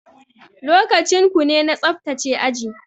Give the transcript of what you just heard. Lokacin kune na tsaftace aji.